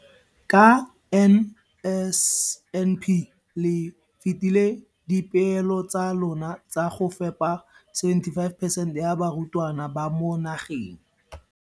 Ka NSNP le fetile dipeelo tsa lona tsa go fepa masome a supa le botlhano a diperesente ya barutwana ba mo nageng.